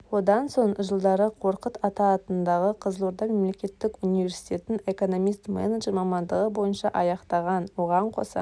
одан соң жылдары қорқыт ата атындағы қызылорда мемлекеттік университетін экономист-менеджер мамандығы бойынша аяқтаған оған қоса